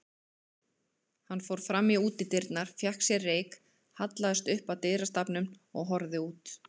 Hann fór fram í útidyrnar, fékk sér reyk, hallaðist upp að dyrastafnum og horfði út.